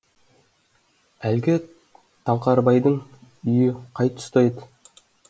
әлгі таңқарбайдың үйі қай тұста еді